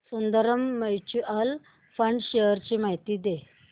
Sundaram mutual fund shares ची माहिती दे